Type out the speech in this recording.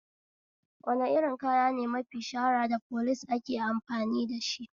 Wane irin kaya ne mafi shahara da police ake amfani dashi?